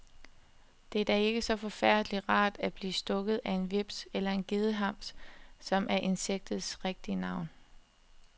Det er da ikke så forfærdelig rart at blive stukket af en hveps eller en gedehams, som er insektets rigtige navn.